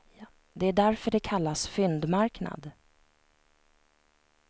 Det är därför det kallas fyndmarknad.